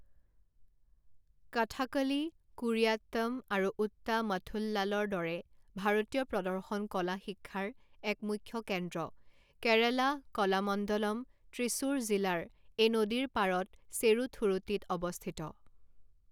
কথাকলি, কুড়িয়াত্তম আৰু ওট্টামথুল্লালৰ দৰে ভাৰতীয় প্ৰদৰ্শন কলা শিক্ষাৰ এক মুখ্য কেন্দ্ৰ, কেৰালা কলামণ্ডলম, ত্ৰিশূৰ জিলাৰ এই নদীৰ পাৰত চেৰুথুৰুটিত অৱস্থিত।